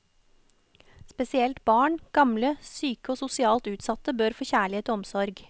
Spesielt barn, gamle, syke og sosial utsatte bør få kjærlighet og omsorg.